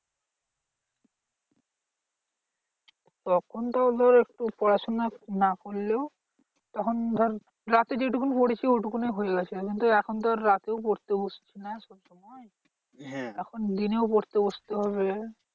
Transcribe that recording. তখন তোর একটু পড়াশোনা না করলেও তখন ধর রাতে যেটুকুন পড়েছি ওইটুকুনেই হয়ে গেছে। কিন্তু এখন তো এখন তো আর রাতেও পড়তে বসছি না। তখন দিনেও পড়তে বসতে হবে।